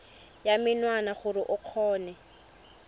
ya menwana gore o kgone